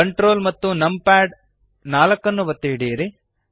Ctrl ಮತ್ತು numpad 4 ಒತ್ತಿ ಹಿಡಿಯಿರಿ